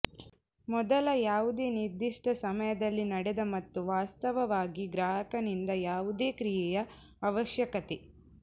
ಮೊದಲ ಯಾವುದೇ ನಿರ್ದಿಷ್ಟ ಸಮಯದಲ್ಲಿ ನಡೆದ ಮತ್ತು ವಾಸ್ತವವಾಗಿ ಗ್ರಾಹಕನಿಂದ ಯಾವುದೇ ಕ್ರಿಯೆಯ ಅವಶ್ಯಕತೆ